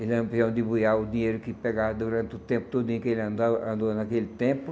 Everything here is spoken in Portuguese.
E Lampião,, o dinheiro que pegava durante o tempo todinho em que ele andava, andou naquele tempo.